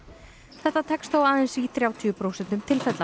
þetta tekst þó aðeins í þrjátíu prósentum tilfella